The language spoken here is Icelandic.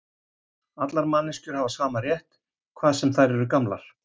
Allar manneskjur hafa sama rétt, hvað sem þær eru gamlar.